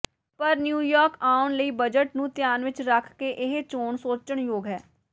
ਪਰ ਨਿਊਯਾਰਕ ਆਉਣ ਲਈ ਬਜਟ ਨੂੰ ਧਿਆਨ ਵਿਚ ਰੱਖ ਕੇ ਇਹ ਚੋਣ ਸੋਚਣਯੋਗ ਹੈ